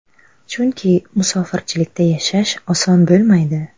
Chunki musofirchilikda yashash oson bo‘lmaydi.